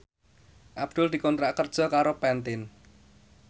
Abdul dikontrak kerja karo Pantene